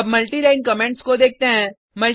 अब multiline comments को देखते हैं